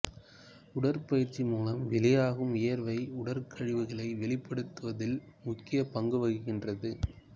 உடற்பயிற்சி மூலம் வெளியாகும் வியர்வை உடற் கழிவுகளை வெளிப்படுத்துவதில் முக்கிய பங்குவகிக்கின்றது